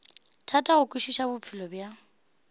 thata go kwešiša bophelo bja